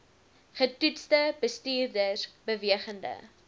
getoetste bestuurders bewegende